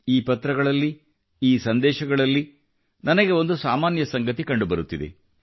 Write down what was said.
ಈ ಪತ್ರಗಳಲ್ಲಿ ಈ ಸಂದೇಶಗಳಲ್ಲಿ ನನಗೆ ಒಂದು ಸಾಮಾನ್ಯ ಸಂಗತಿ ಕಂಡುಬರುತ್ತಿದೆ